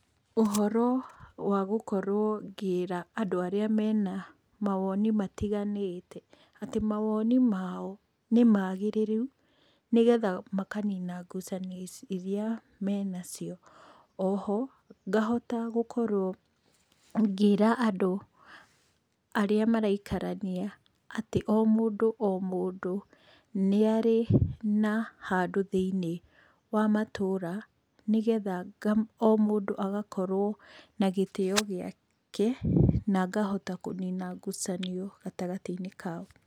Ũhoro wa gũkorwo ngĩra andũ arĩa mena mawoni matiganite, atĩ, mawoni mao nĩ magĩrĩru nĩgetha makanina ngucanio iria menacio, oho, ngahota gũkorwo ngĩra andũ arĩa maraikarania atĩ o mũndũ o mũndũ, nĩarĩ na handũ thĩinĩ wa matũra, nĩgetha o mũndũ agakorwo na gĩtĩyo gĩake na ngahota kũnina ngucanio gatagatĩ kao.